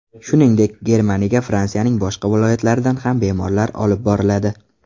Shuningdek, Germaniyaga Fransiyaning boshqa viloyatlaridan ham bemorlar olib boriladi.